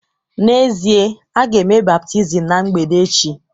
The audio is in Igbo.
N’ezie, a ga-eme baptizim ná mgbede echi